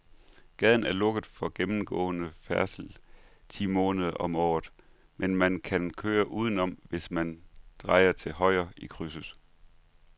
Gaden er lukket for gennemgående færdsel ti måneder om året, men man kan køre udenom, hvis man drejer til højre i krydset.